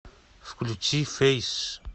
включи фейс